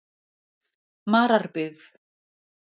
Mararbyggð